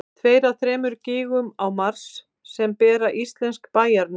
tveir af þremur gígum á mars sem bera íslensk bæjarnöfn